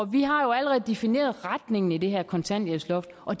vi har jo allerede defineret retningen i det her kontanthjælpsloft og